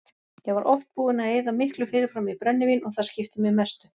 Ég var oft búinn að eyða miklu fyrirfram í brennivín og það skipti mig mestu.